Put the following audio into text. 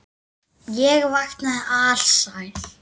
Ég vaknaði alsæll.